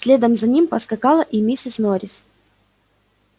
следом за ним поскакала и миссис норрис